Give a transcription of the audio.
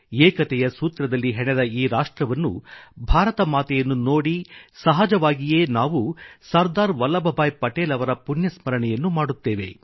ಏಕತೆಯ ಸೂತ್ರದಲ್ಲಿ ಹೆಣೆದ ಈ ರಾಷ್ಟ್ರವನ್ನು ಭಾರತ ಮಾತೆಯನ್ನು ನೋಡಿ ಸಹಜವಾಗಿಯೇ ನಾವು ಸರ್ದಾರ್ ವಲ್ಲಭ್ಭಾಯಿ ಪಟೇಲ್ ಅವರ ಪುಣ್ಯಸ್ಮರಣೆಯನ್ನು ಮಾಡುತ್ತೇವೆ